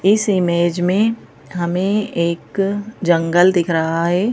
इस इमेज में हमें एक जंगल दिख रहा है।